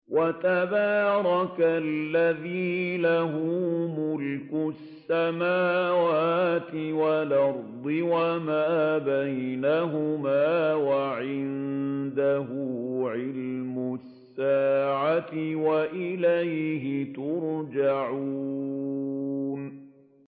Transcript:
وَتَبَارَكَ الَّذِي لَهُ مُلْكُ السَّمَاوَاتِ وَالْأَرْضِ وَمَا بَيْنَهُمَا وَعِندَهُ عِلْمُ السَّاعَةِ وَإِلَيْهِ تُرْجَعُونَ